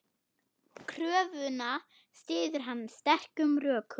Kröfuna styður hann sterkum rökum.